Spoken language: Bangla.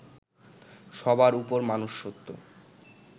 সবার উপর মানুষ সত্য